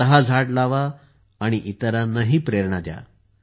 स्वतः झाड लावा आणि इतरांनाही प्रेरणा द्या